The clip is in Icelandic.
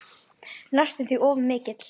Næstum því of mikill.